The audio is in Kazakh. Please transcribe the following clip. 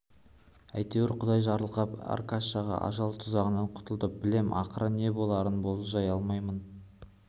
әйтеуір құдай жарылқап аркаша ажал тұзағынан құтылды білем ақыры не боларын болжай алмаймын